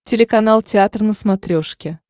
телеканал театр на смотрешке